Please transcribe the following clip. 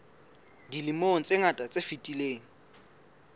dilemong tse ngata tse fetileng